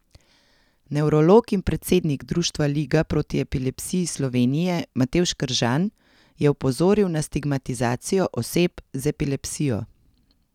Nevrolog in predsednik društva Liga proti epilepsiji Slovenije Matevž Kržan je opozoril na stigmatizacijo oseb z epilepsijo.